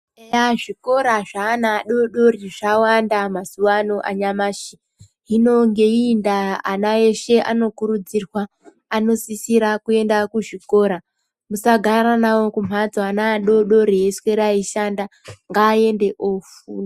Eya zvikora zveana adodori zvawanda mazuwa ano anyamashi. Hino ngeiyi nda ana eshe onokuridzirwa anosisirwa kuenda kuzvikora musagara nawo kumhatso ana adodori eiswera eishanda ngaende ofunda.